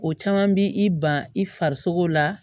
O caman bi i ban i farisogo la